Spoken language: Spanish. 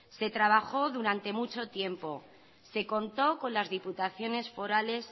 se trabajó durante mucho tiempo se contó con las diputaciones forales